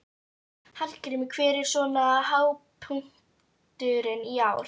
Hallgrímur, hver er svona hápunkturinn í ár?